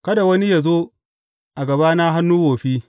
Kada wani yă zo a gabana hannu wofi.